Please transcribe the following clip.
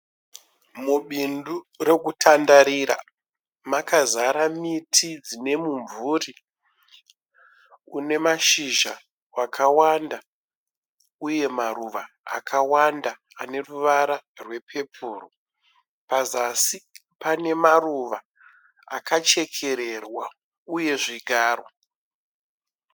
Mubindu rekutandarira makazara miti ine mimvura ine mashizha akawanda uye maruva akawanda ane ruvara rwe pepuru. Pazasi pane maruva akachekererwa uye zvigaro.